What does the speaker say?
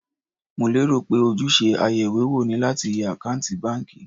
Mo lérò pé ojúṣe ayeìwéwò ni láti yẹ àkántì báńkì.